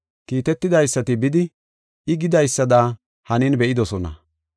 Kiitetidaysati bidi I gidaysada hanin be7idosona.